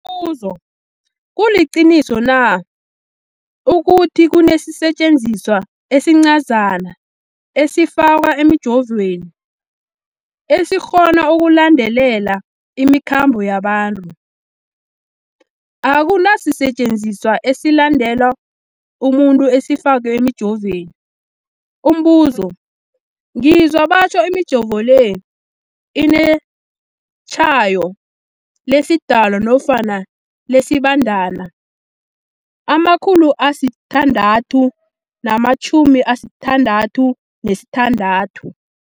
Umbuzo, kuliqiniso na ukuthi kunesisetjenziswa esincazana esifakwa emijovweni, esikghona ukulandelela imikhambo yabantu? Akuna sisetjenziswa esilandelela umuntu esifakwe emijoveni. Umbuzo, ngizwa batjho imijovo le inetshayo lesiDalwa nofana lesiBandana 666.